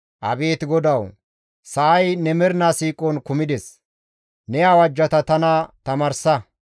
Abeet GODAWU! Sa7ay ne mernaa siiqon kumides; ne awajjata tana tamaarsa.